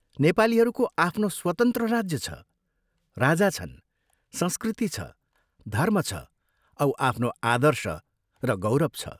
नेपालीहरूको आफ्नो स्वतन्त्र राज्य छ, राजा छन्, संस्कृति छ, धर्म छ औ आफ्नो आदर्श र गौरव छ।